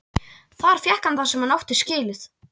Þar fékk hann það sem hann átti skilið.